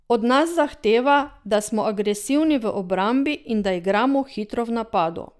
Od nas zahteva, da smo agresivni v obrambi in da igramo hitro v napadu.